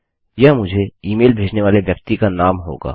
यह मुझे ईमेल भेजने वाले व्यक्ति का नाम होगा